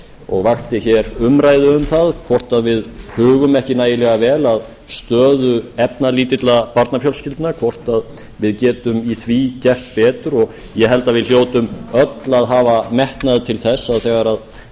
og vakti hér umræðu um það hvort við hugum ekki nægilega vel að stöðu efnalítilla barnafjölskyldna hvort við getum gert betur í því efni ég held að hljótum öll að hafa metnað til þess þegar